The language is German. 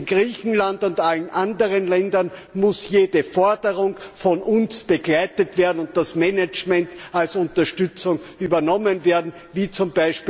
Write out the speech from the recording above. In Griechenland und allen anderen Ländern muss jede Forderung von uns begleitet werden und das Management als Unterstützung übernommen werden, wie z.